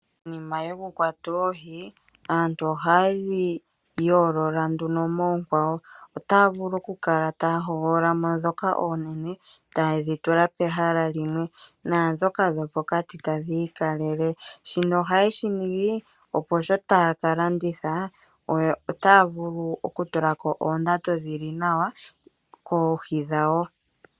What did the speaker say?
Konima yokukwata oohi aantu ohaye dhi yoolola nduno moonkwawo. Otaya vulu okukala taya hogolola mo ndhoka oonene e taye dhi tula pehala limwe naandhoka dhopokati tadhi ikalele. Shika ohaye shi ningi, opo sho taya ka landitha otaya vulu okutula ko oondando dhi li nawa koohi dhawo.